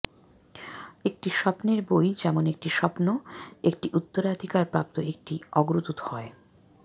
একটি স্বপ্নের বই যেমন একটি স্বপ্ন একটি উত্তরাধিকার প্রাপ্ত একটি অগ্রদূত হয়